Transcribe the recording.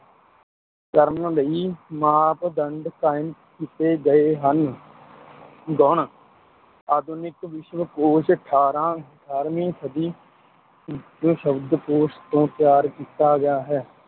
ਕਰਨ ਲਈ ਮਾਪਦੰਡ ਕਾਇਮ ਕੀਤੇ ਗਏ ਹਨ ਗੁਣ, ਆਧੁਨਿਕ ਵਿਸ਼ਵ ਕੋਸ਼ ਅਠਾਰਾਂ ਅਠਾਰਵੀਂ ਸਦੀ ਵਿੱਚ ਸ਼ਬਦਕੋਸ਼ ਤੋਂ ਤਿਆਰ ਕੀਤਾ ਗਿਆ ਹੈ।